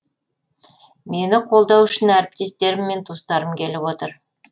мені қолдау үшін әріптестерім мен туыстарым келіп отыр